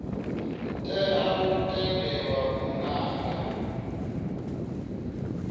tea u tendelwa u nanga